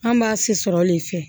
An b'a si sɔrɔ de fɛ